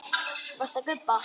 Varstu að gubba?